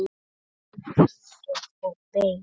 Ég þagði, beið.